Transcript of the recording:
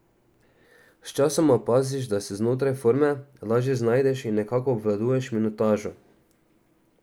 Sčasoma opaziš, da se znotraj forme lažje znajdeš in nekako obvladuješ minutažo.